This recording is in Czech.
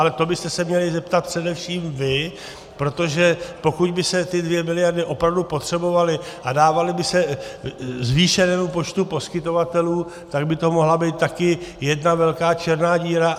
Ale to byste se měli zeptat především vy, protože pokud by se ty dvě miliardy opravdu potřebovaly a dávaly by se zvýšenému počtu poskytovatelů, tak by to mohla být také jedna velká černá díra.